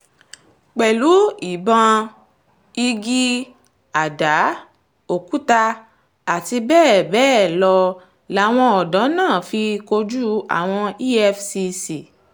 pẹ̀lú ìbọn igi àdá òkúta àti bẹ́ẹ̀ bẹ́ẹ̀ lọ làwọn odò náà fi kojú àwọn efcc